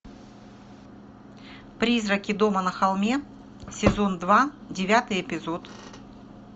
призраки дома на холме сезон два девятый эпизод